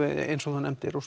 eins og þú nefndir og